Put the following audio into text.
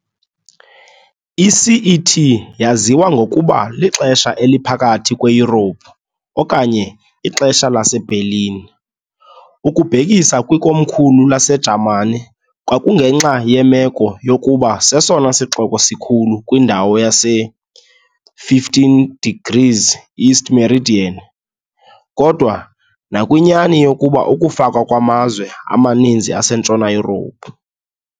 I-CET yaziwa ngokuba "lixesha eliphakathi kweYurophu" "okanye" "ixesha laseBerlin" - ukubhekiswa kwikomkhulu laseJamani kwakungenxa yemeko yokuba sesona sixeko sikhulu kwindawo yase-15º E meridian, kodwa nakwinyani yokuba ukufakwa kwamazwe amaninzi aseNtshona Yurophu.